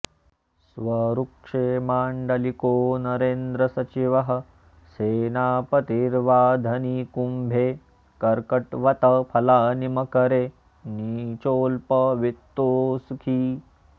स्वऋक्षे माण्डलिको नरेन्द्र सचिवः सेनापतिर्वाधनी कुम्भे कर्कटवत् फलानि मकरे नीचोऽल्प वित्तोऽसुखी